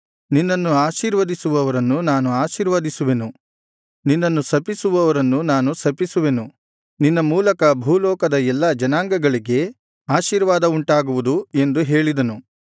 ನಿನ್ನನ್ನು ಆಶೀರ್ವದಿಸುವವರನ್ನು ನಾನು ಆಶೀರ್ವದಿಸುವೆನು ನಿನ್ನನ್ನು ಶಪಿಸುವವರನ್ನು ನಾನು ಶಪಿಸುವೆನು ನಿನ್ನ ಮೂಲಕ ಭೂಲೋಕದ ಎಲ್ಲಾ ಜನಾಂಗಗಳಿಗೆ ಆಶೀರ್ವಾದವುಂಟಾಗುವುದು ಎಂದು ಹೇಳಿದನು